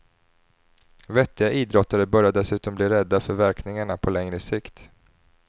Vettiga idrottare började dessutom bli rädda för verkningarna på längre sikt.